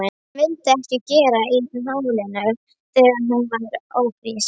Hún vildi ekkert gera í málinu þegar hún varð ófrísk.